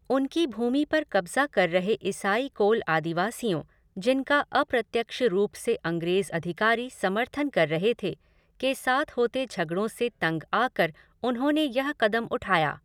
उनकी भूमि पर कब्ज़ा कर रहे ईसाई कोल आदिवासियों, जिनका अप्रत्यक्ष रूप से अंग्रेज़ अधिकारी समर्थन कर रहे थे, के साथ होते झगड़ों से तंग आकर उन्होंने यह कदम उठाया।